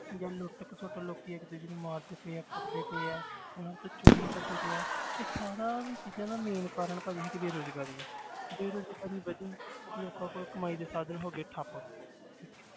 ਜਾਂ ਲੁੱਟ ਖਸੁੱਟ ਲੋਕੀ ਇੱਕ ਦੂਜੇ ਨੂੰ ਮਾਰਦੇ ਪਏ ਹੈ ਕੁੱਟਦੇ ਪਏ ਹੈ ਉਹਨਾਂ ਤੋਂ ਚੋਰੀ ਕਰਦੇ ਪਏ ਹੈ ਇਹ ਸਾਰਾ ਚੀਜ਼ਾਂ ਦਾ main ਕਾਰਨ ਭਾਜੀ ਸਾਡੀ ਬੇਰੁਜ਼ਗਾਰੀ ਹੈ ਬੇਰਜ਼ਗਾਰੀ ਵਧੀ ਲੋਕਾਂ ਕੋਲ ਕਮਾਈ ਦੇ ਸਾਧਨ ਹੋ ਗਏ ਠੱਪ